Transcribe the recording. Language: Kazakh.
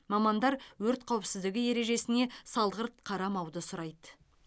мамандар өрт қауіпсіздігі ережесіне салғырт қарамауды сұрайды